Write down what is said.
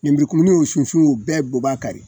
Nemurukumuni o sunsun u bɛɛ b'u b'a kari